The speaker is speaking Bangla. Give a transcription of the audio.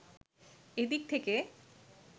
এদিক থেকে